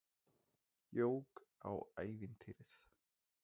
Jók á ævintýrið.